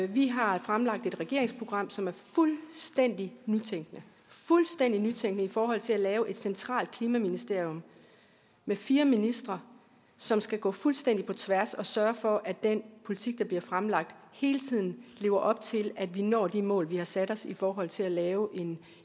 vi har fremlagt et regeringsprogram som er fuldstændig nytænkende fuldstændig nytænkende i forhold til at lave et centralt klimaministerium med fire ministre som skal gå fuldstændig på tværs og sørge for at den politik der bliver fremlagt hele tiden lever op til at vi når de mål vi har sat os i forhold til at lave